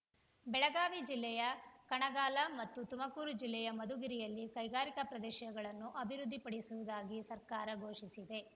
ಬೆಳಗಾವಿ ಜಿಲ್ಲೆಯ ಕಣಲಗಾ ಮತ್ತು ತುಮಕೂರು ಜಿಲ್ಲೆಯ ಮಧುಗಿರಿಯಲ್ಲಿ ಕೈಗಾರಿಕಾ ಪ್ರದೇಶಗಳನ್ನು ಅಭಿವೃದ್ಧಿಪಡಿಸುವುದಾಗಿ ಸರ್ಕಾರ ಘೋಷಿಸಿದೆ